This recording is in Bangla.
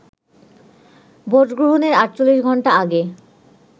ভোটগ্রহণের ৪৮ ঘণ্টা আগে